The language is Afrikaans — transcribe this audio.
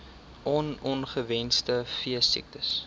on ongewenste veesiektes